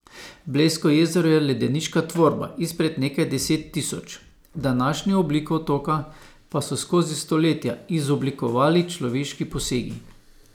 Blejsko jezero je ledeniška tvorba izpred nekaj deset tisoč, današnjo obliko otoka pa so skozi stoletja izoblikovali človeški posegi.